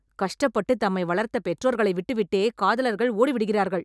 கஷ்டப்பட்டு தம்மை வளர்த்த பெற்றோர்களை விட்டுவிட்டே காதலர்கள் ஓடி விடுகிறார்கள்